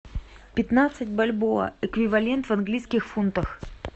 пятнадцать бальбоа эквивалент в английских фунтах